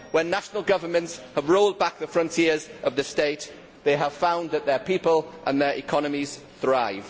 When national governments have rolled back the frontiers of the state, they have found that their people and their economies thrive.